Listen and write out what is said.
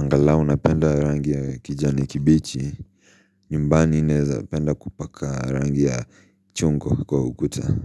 Angalau napenda rangi ya kijani kibichi. Nymbani naweza penda kupaka rangi ya chungwa kwa ukuta.